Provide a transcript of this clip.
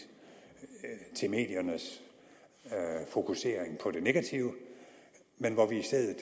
til mediernes fokusering på det negative men hvor vi i stedet